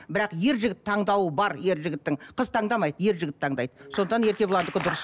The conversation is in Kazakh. бірақ ер жігіт таңдауы бар ер жігіттің қыз таңдамайды ер жігіт таңдайды сондықтан еркебұландікі дұрыс